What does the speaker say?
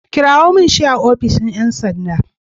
Kirawo min shi a ofishin ƴan sanda.